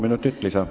Palun!